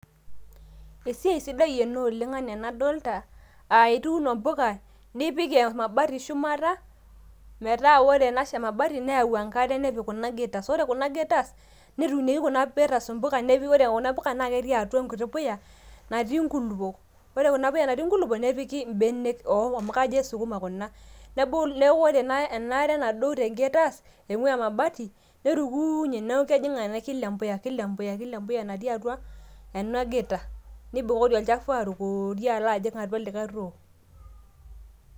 esiai sidai ena oleng anaa enadolita, aa ituuno impuka, nipik emabati shumata, metaa ore ena mabati nepiki enkare kuna gutters, ore kuna gutters, netuunieki kuna gutters i mpuka, ore Kuna puka naa ketii enkiti puya natii inkulupuok. ore ena puya natii inkulupuok, nepiki ibenek. amu kajo ke sukuma kuna. neeku ore ena are nadou te gutters, eing'ua emabati, netukuunye, neeku kejing, enkare kila empuya. kila empuya natii atua ena gutters, neibukori olchafu alo ajing likae too.